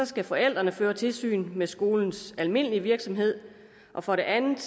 skal forældrene føre tilsyn med skolens almindelige virksomhed og for det andet